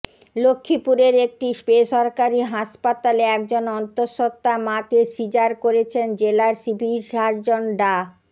লক্ষ্মীপুরের একটি বেসরকারি হাসপাতালে একজন অন্তঃসত্ত্বা মাকে সিজার করেছেন জেলার সিভিল সার্জন ডা